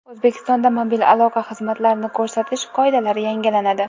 O‘zbekistonda mobil aloqa xizmatlarini ko‘rsatish qoidalari yangilanadi.